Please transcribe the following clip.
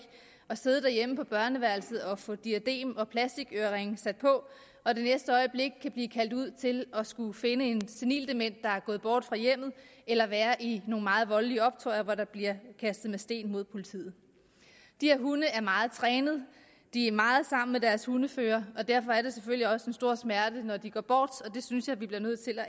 at sidde derhjemme på børneværelset og få sat diadem og plastikøreringe på og det næste øjeblik kan blive kaldt ud til at skulle finde en senildement der er gået fra hjemmet eller være i nogle meget voldelige optøjer hvor der bliver kastet med sten mod politiet de her hunde er meget trænet de er meget sammen med deres hundeførere og derfor er det selvfølgelig også en stor smerte når de går bort det synes jeg vi bliver nødt til at